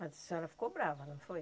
Mas a senhora ficou brava, não foi?